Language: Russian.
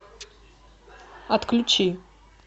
отключи